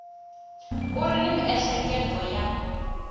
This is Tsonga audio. u ri ni miehleketo ya